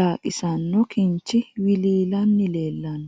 daaqisinno kinchchi wiliillanni leelanno.